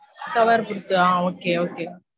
Cover ர பொருத்து ஆஹ் okay okay